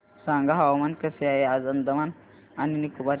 सांगा हवामान कसे आहे आज अंदमान आणि निकोबार चे